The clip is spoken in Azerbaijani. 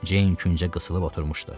Ceyn küncə qısılıb oturmuşdu.